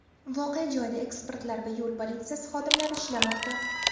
Voqea joyida ekspertlar va yo‘l politsiyasi xodimlari ishlamoqda.